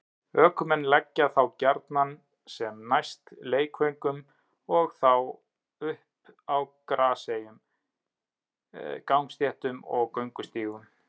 Ökumenn leggja þá gjarnan sem næst leikvöngum og þá upp á graseyjum, gangstéttum og göngustígum.